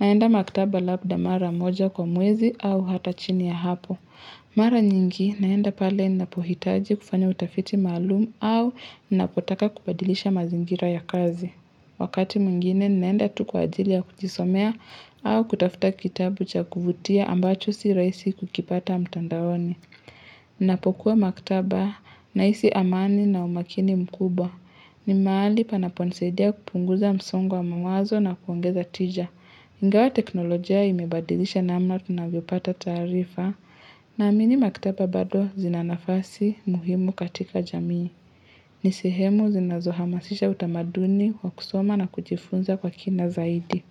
naenda maktaba labda mara moja kwa mwezi au hata chini ya hapo Mara nyingi naenda pale ninapohitaji kufanya utafiti maalumu au ninapotaka kubadilisha mazingira ya kazi Wakati mwingine naenda tu kwa ajili ya kujisomea au kutafuta kitabu cha kuvutia ambacho sirahisi kukipata mtandaoni Ninapokuwa maktaba na hisi amani na umakini mkubwa. Ni mahali panaponisaidia kupunguza msongo wa mawazo na kuongeza tija. Ingawa teknolojia imebadilisha namna tunavyopata taarifa. Naamini maktaba bado zinanafasi muhimu katika jamii. Nisehemu zinazohamasisha utamaduni wa kusoma na kujifunza kwa kina zaidi.